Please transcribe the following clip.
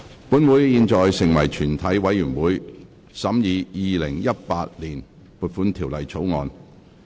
本會現在成為全體委員會，審議《2018年撥款條例草案》。